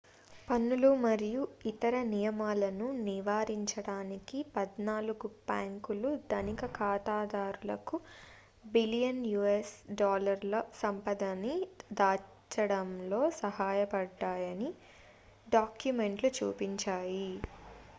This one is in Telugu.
పన్నులు మరియు ఇతర నియమాలను నివారించడానికి పద్నాలుగు బ్యాంకులు ధనిక ఖాతాదారులకు బిలియన్ యుఎస్ డాలర్ల సంపదని దాచడంలో సహాయపడ్డాయని డాక్యుమెంట్లు చూపించాయి